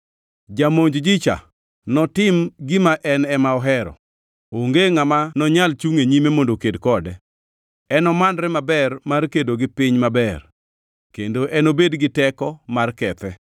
Jamonj ji-cha notim gima en ema ohero; onge ngʼama nonyal chungʼ e nyime mondo oked kode. Enomanre maber mar kedo gi Piny Maber, kendo enobed gi teko mar kethe.